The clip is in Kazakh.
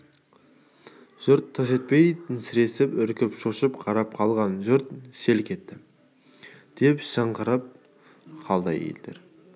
жұрт тырс етпей сіресіп үркіп шошып қарап қалған жұрт селк етті деп шыңғырып қалды әйелдер